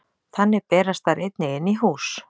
Þannig berast þær einnig inn í hús.